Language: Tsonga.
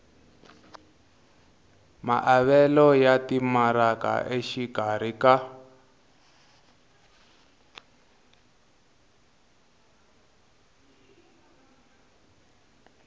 maavelo ya timaraka exikarhi ka